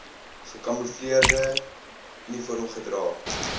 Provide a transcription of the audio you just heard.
gekamoefleerde uniform gedra